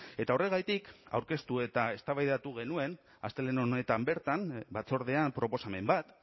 eta horregatik aurkeztu eta eztabaidatu genuen astelehen honetan bertan batzordean proposamen bat